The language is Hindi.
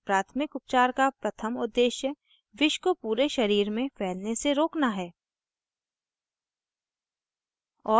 प्राथमिक उपचार का प्रथम उद्देश्य विष को पूरे शरीर में फैलने से रोकना है